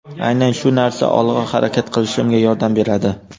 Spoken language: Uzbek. Aynan shu narsa olg‘a harakat qilishimga yordam beradi.